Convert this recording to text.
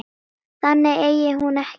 Þangað eigi hún ekkert erindi.